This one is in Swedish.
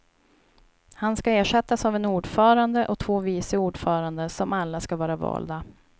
Han ska ersättas av en ordförande och två vice ordförande, som alla ska vara valda.